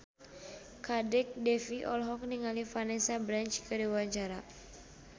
Kadek Devi olohok ningali Vanessa Branch keur diwawancara